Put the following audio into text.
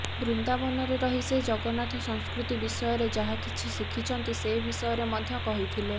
ବୃନ୍ଦାବନରେ ରହି ସେ ଜଗନ୍ନାଥ ସଂସ୍କୃତି ବିଷୟରେ ଯାହା କିଛି ଶିଖିଛନ୍ତି ସେ ବିଷୟରେ ମଧ୍ୟ କହିଥିଲେ